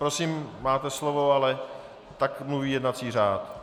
Prosím, máte slovo, ale tak mluví jednací řád.